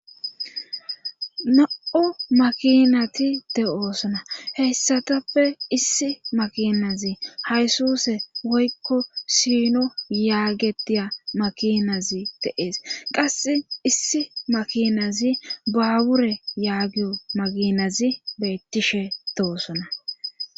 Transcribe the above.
na7o makinati de7oosona heyssatappe issi makinazi haysuse woykko sino yaagetiya makinazi deees qasse issi makinazi baawure yaagio makinazi beettishe deosona